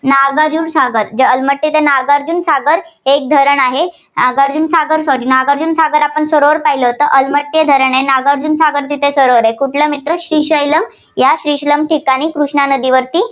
नागार्जुन सागर, जे अलमट्टी नागार्जुन सागर एक धरण आहे. नागार्जुन सागर, नागार्जुन सागर आपण सरोवर पाहिल तर अलमट्टी धरण आहे, नागार्जुन सागर तिथे सरोवर आहे. श्रीशैल या श्रीशलम ठिकाणी कृष्णा नदीवरती